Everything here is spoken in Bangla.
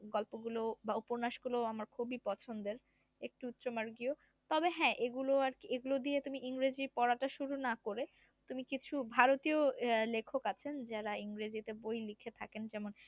গল্পগুলো বা উপন্যাসগুলো আমার খুবই পছন্দের একটু উচ্চ মার্গিও তবে হ্যা এগুলো আরকি এগুলো দিয়ে তুই ইংরেজি পড়াটা শুরু না করে তুমি কিছু ভারতীয় আহ লেখন আছেন যারা ইংরেজিরে বই লিখে থাকেন যেমন